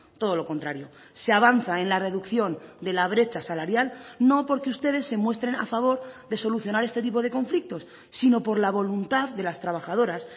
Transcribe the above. todo lo contrario se avanza en la reducción de la brecha salarial no porque ustedes se muestren a favor de solucionar este tipo de conflictos sino por la voluntad de las trabajadoras